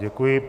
Děkuji.